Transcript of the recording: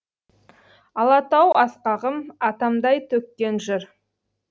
алатау асқағым атамдай төккен жыр